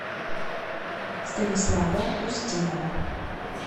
станислава устинова